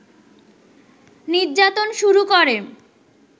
নির্যাতন শুরু করে